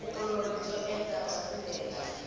vuolori byo enta bya pfuneta